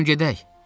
Durun, gedək!